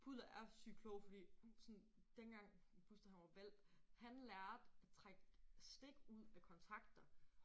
Pudler er sygt kloge fordi sådan dengang Buster han var hvalp han lærte at trække stik ud af kontakter